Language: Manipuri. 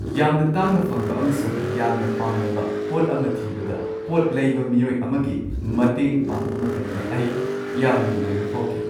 ꯌꯥꯝꯅ ꯇꯥꯡꯅ ꯐꯪꯕ ꯑꯃꯁꯨꯡ ꯌꯥꯝꯅ ꯄꯥꯝꯅꯕ ꯄꯣꯠ ꯑꯃ ꯊꯤꯕꯗ ꯄꯣꯠ ꯂꯩꯕ ꯃꯤꯑꯣꯏ ꯑꯃꯒꯤ ꯃꯇꯦꯡ ꯄꯥꯡꯕ ꯃꯇꯝꯗ, ꯑꯩ ꯌꯥꯝꯅ ꯅꯨꯡꯉꯥꯏꯕ ꯐꯥꯎꯈꯤ꯫